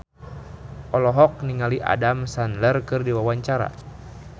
Inneke Koesherawati olohok ningali Adam Sandler keur diwawancara